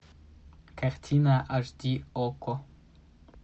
картина аш ди окко